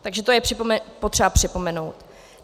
Takže to je potřeba připomenout.